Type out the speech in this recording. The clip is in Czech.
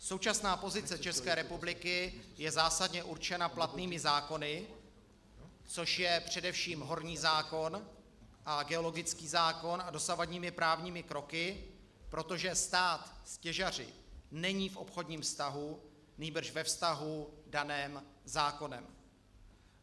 Současná pozice České republiky je zásadně určena platnými zákony, což je především horní zákon a geologický zákon, a dosavadními právními kroky, protože stát s těžaři není v obchodním vztahu, nýbrž ve vztahu daném zákonem.